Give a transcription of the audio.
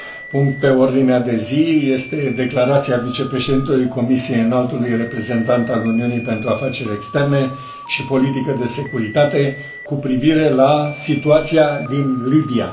punct pe ordinea de zi este Declarația Vicepreședintelui Comisiei Înaltului Reprezentant al Uniunii pentru afaceri externe și politica de securitate cu privire la situația din Libia.